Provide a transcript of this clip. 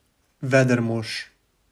Veder mož.